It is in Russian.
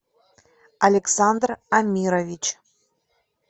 александр амирович